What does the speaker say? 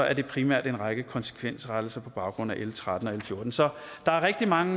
er det primært en række konsekvensrettelser på baggrund af l tretten og l fjortende så der er rigtig mange